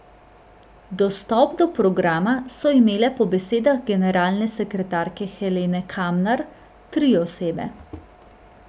Dostop do programa so imele po besedah generalne sekretarke Helene Kamnar tri osebe.